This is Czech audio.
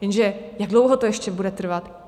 Jenže jak dlouho to ještě bude trvat?